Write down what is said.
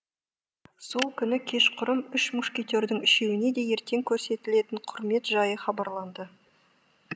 сол күні кешқұрым үш мушкетердің үшеуіне де ертең көрсетілетін құрмет жайы хабарланды